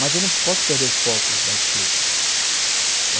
Mas eu não posso perder o foco da escrita.